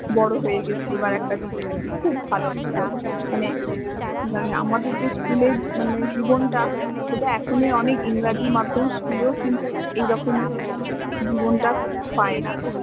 বড় হয়ে গেছি এবার একটা দিদি দিদি খুব ভালো ছিল মানে আমাদের যে school এর জীবণটা সেটা এখনের অনেক ইংরাজি মাধ্য়ম school এও কিন্তু এই রকম জীব্ণটা পায় না